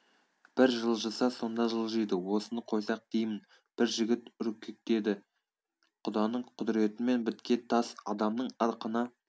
бір жылжыса сонда жылжиды осыны қойсақ деймін бір жігіт үркектеді құданың құдіретімен біткен тас адамның ырқына